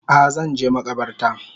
A Zanje makabarta